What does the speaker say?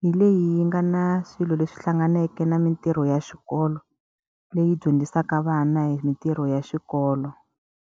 hi leyi yi nga na swilo leswi hlanganeke na mitirho ya xikolo, leyi dyondzisaka vana hi mitirho ya xikolo.